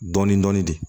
Dɔɔnin dɔɔnin de